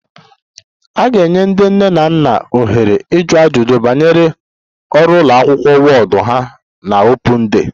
A ga-enye ndị nne na nna ohere ịjụ ajụjụ banyere ọrụ ụlọ akwụkwọ ward ha na Open day